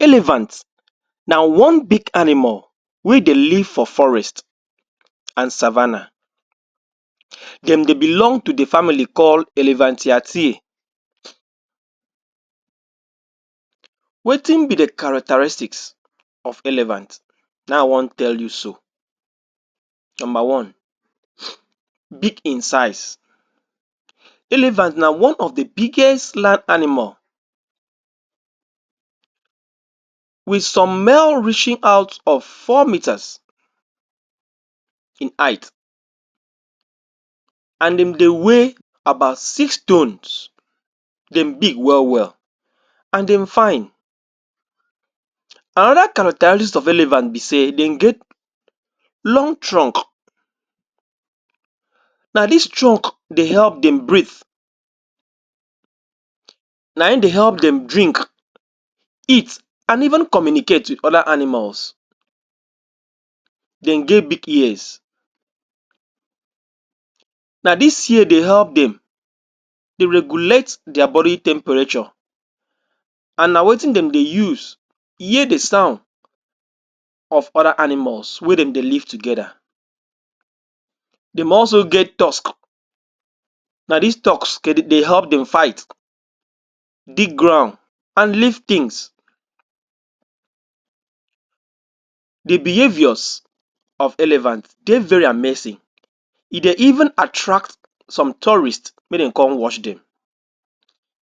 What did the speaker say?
Elephant na one big animal wey dey live for forest and savannah dem dey belong to the family called elephantiati wetin be the characteristics of elephant na wan tell you so number one big in size elephant na one of the biggest land animal with some male reaching out of 4meters in height and dem dey weigh about 6 tonnes dem big well-well and dem fine another characteristics of elephant be say, dem get long trunk na this trunk dey help them breath na im dey help them drink eat, and even communicate with other animals dem get big ears na this ear dey help them dey regulate their body temperature an na wetin dem dey use hear the sound of other animals wey dem dey live together dem also get tusk na this tusk dey help them fight, dig ground and lift things the behaviours of elephant dey very amazing e dey even attract some tourist make dem come watch them